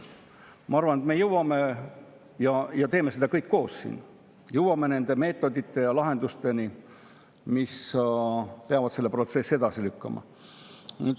Ma arvan, et me teeme seda siin kõik koos, jõuame nende meetodite ja lahendusteni, mis peavad seda protsessi lükkama.